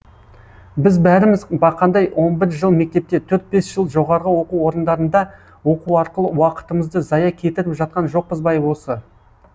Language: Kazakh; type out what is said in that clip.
біз бәріміз бақандай он бір жыл мектепте төрт бес жыл жоғарғы оқу орындарында оқу арқылы уақытымызды зая кетіріп жатқан жоқпыз бай осы